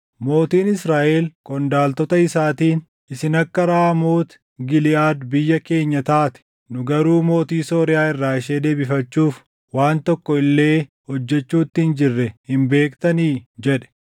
Mootiin Israaʼel qondaaltota isaatiin, “Isin akka Raamooti Giliʼaad biyya keenya taatee nu garuu mootii Sooriyaa irraa ishee deebifachuuf waan tokko illee hojjechuutti hin jirre hin beektanii?” jedhe.